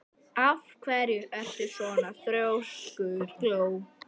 Af hverju ertu svona þrjóskur, Gló?